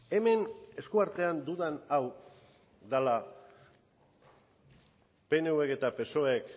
hemen eskuartean dudan hau dela pnvk eta psoek